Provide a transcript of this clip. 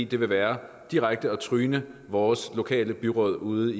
det vil være direkte at tryne vores lokale byråd ude